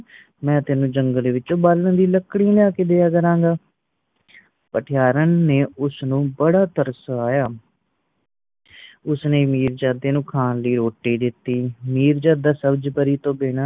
ਮੈਂ ਤੈਨੂੰ ਜੰਗਲ ਵਿੱਚੋ ਬਾਲਣ ਲਈ ਲੱਕੜੀ ਲਿਆ ਕੇ ਦਿਆਂ ਕਰਾਂਗਾ। ਪੱਠੇਹਾਰਨ ਨੇ ਉਸਨੂੰ ਬੜਾ ਤਰਸਾਆ। ਉਸਨੇ ਮਿਰਜਾਦੇ ਨੂੰ ਖਾਣ ਲਈ ਰੋਟੀ ਦਿੱਤੀ।